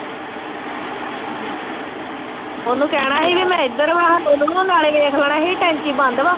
ਉਹਨੂੰ ਕਹਿਣਾ ਸੀ ਵੀ ਮੈਂ ਇਧਰ ਆਂ ਭਾਨੋ ਨੂੰ ਤੇ ਨਾਲੇ ਦੇਖ ਲੈਣਾ ਸੀ ਟੈਂਕੀ ਬੰਦ ਆ।